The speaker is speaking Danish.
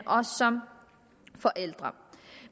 og som forældre